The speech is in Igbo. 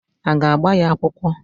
Aga agba ya akwụkwọ?